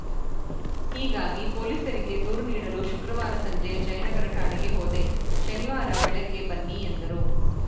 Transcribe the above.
ಹೀಗಾಗಿ ಪೊಲೀಸರಿಗೆ ದೂರು ನೀಡಲು ಶುಕ್ರವಾರ ಸಂಜೆ ಜಯನಗರ ಠಾಣೆಗೆ ಹೋದೆ ಶನಿವಾರ ಬೆಳಗ್ಗೆ ಬನ್ನಿ ಎಂದರು